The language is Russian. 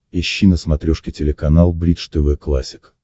ищи на смотрешке телеканал бридж тв классик